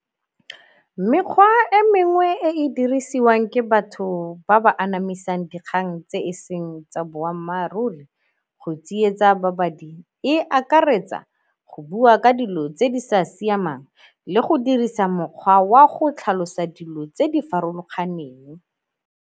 Mekgwa e mengwe e e dirisiwang ke batho ba ba anamisang dikgang tse e seng tsa boammaaruri go tsietsa babadi e akaretsa go bua ka dilo tse di sa siamang le go dirisa mokgwa wa go tlhalosa dilo tse di farologaneng.